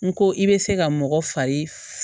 N ko i bɛ se ka mɔgɔ fari